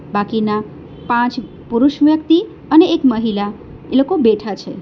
બાકીના પાંચ પુરુષ વ્યક્તિ અને એક મહિલા એ લોકો બેઠા છે.